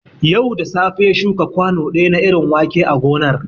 Yau da safe ya shuka kwanu ɗaya na irin wake a gonar